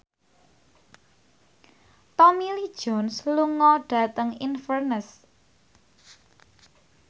Tommy Lee Jones lunga dhateng Inverness